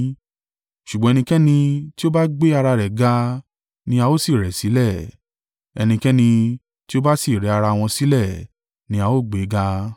Ṣùgbọ́n ẹnikẹ́ni tí ó bá gbé ara rẹ̀ ga ni a ó sì rẹ̀ sílẹ̀, ẹnikẹ́ni tí ó bá sì rẹ ara wọn sílẹ̀ ni a ó gbéga.